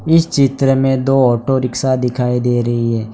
इस चित्र में दो ऑटो रिक्शा दिखाई दे रही है।